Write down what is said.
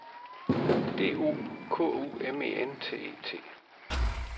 D O K U M E N T E T